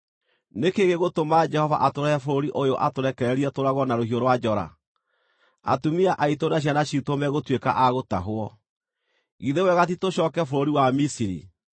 Nĩ kĩĩ gĩgũtũma Jehova atũrehe bũrũri ũyũ atũrekererie tũũragwo na rũhiũ rwa njora? Atumia aitũ na ciana ciitũ megũtuĩka a gũtahwo. Githĩ wega ti tũcooke bũrũri wa Misiri?”